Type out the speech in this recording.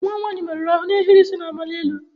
Nwa m nwanyị merụrụ ahụ na ohiri isi na-amali elu.